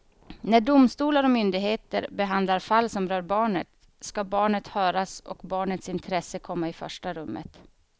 När domstolar och myndigheter behandlar fall som rör barnet ska barnet höras och barnets intresse komma i första rummet.